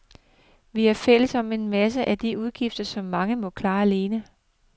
Vi er fælles om en masse af de udgifter, som mange må klare alene.